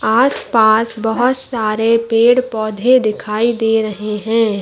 आस पास बहुत सारे पेड़ - पौधे दिखाई दे रहे है।